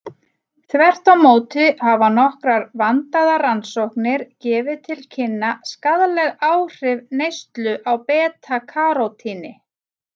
Þvert á móti hafa nokkrar vandaðar rannsóknir gefið til kynna skaðleg áhrif neyslu á beta-karótíni.